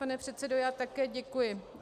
Pan předsedo, já také děkuji.